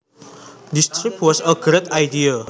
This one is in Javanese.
This trip was a great idea